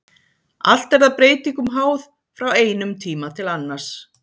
Allt er það breytingum háð frá einum tíma til annars.